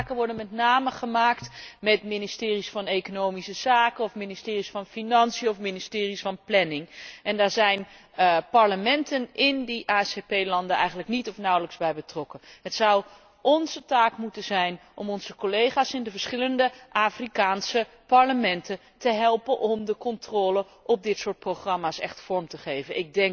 Die afspraken worden met name gemaakt met ministeries van economische zaken of ministeries van financiën of ministeries van planning. Daar zijn de parlementen in die ACS landen eigenlijk niet of nauwelijks bij betrokken. Het zou onze taak moeten zijn om onze collega's in de verschillende Afrikaanse parlementen te helpen om de controle op dit soort programma's echt vorm te geven.